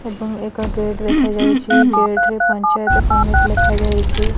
ଏବଂ ଏକ ଗେଟ୍ ଦେଖାଯାଉଚି। ଗେଟ୍ ରେ ପଞ୍ଚାୟତ ସମିତି ଲେଖାଯାଇଚି।